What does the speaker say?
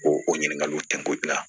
O o ɲininkaliw ten ko la